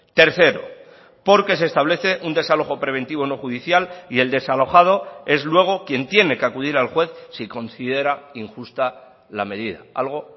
tercero porque se establece un desalojo preventivo no judicial y el desalojado es luego quien tiene que acudir al juez si considera injusta la medida algo